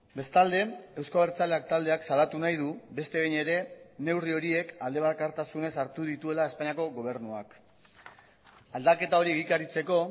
bestalde euzko abertzaleak taldeak salatu nahi du beste behin ere neurri horiek aldebakartasunez hartu dituela espainiako gobernuak aldaketa hori egikaritzeko